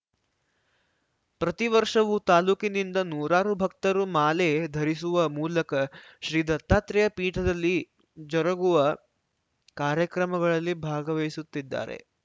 ಪ್ರತಿ ವರ್ಷವೂ ತಾಲೂಕಿನಿಂದ ನೂರಾರು ಭಕ್ತರು ಮಾಲೆ ಧರಿಸುವ ಮೂಲಕ ಶ್ರೀ ದತ್ತಾತ್ರೇಯ ಪೀಠದಲ್ಲಿ ಜರುಗುವ ಕಾರ್ಯಕ್ರಮಗಳಲ್ಲಿ ಭಾಗವಹಿಸುತ್ತಿದ್ದಾರೆ